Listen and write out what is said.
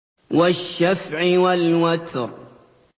وَالشَّفْعِ وَالْوَتْرِ